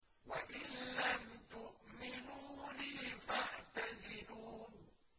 وَإِن لَّمْ تُؤْمِنُوا لِي فَاعْتَزِلُونِ